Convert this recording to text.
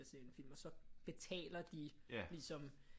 Og ser en film og så betaler de ligesom